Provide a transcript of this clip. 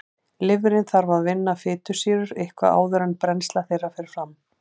Lifrin þarf að vinna fitusýrur eitthvað áður en brennsla þeirra fer fram.